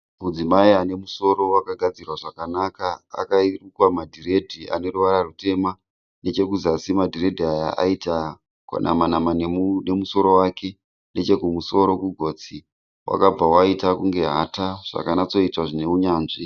Mudzimai anemusoro wakagadzirwa zvakanaka. Akarukwa madhiredi aneruvara rutema. Nechekuzasi madhiredhi aya akati nama-nama nemusoro wake.